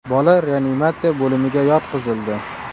Bola reanimatsiya bo‘limiga yotqizildi.